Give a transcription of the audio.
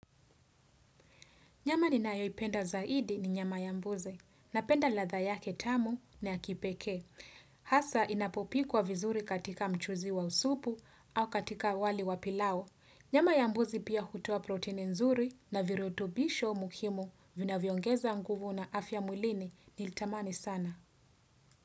Nyama ninayoipenda zaidi ni nyama ya mbuzi. Napenda ladhaa yake tamu na ya kipekee. Hasa inapopikwa vizuri katika mchuzi wa supu au katika wali wa pilau. Nyama ya mbuzi pia hutoa protini nzuri na virutubisho muhimu vinavyoongeza nguvu na afya mwlini nilitamani sana.